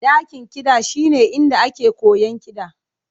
Dakin kiɗa shine inda ake koyon kiɗa.